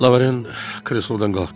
Laurent kreslodan qalxdı.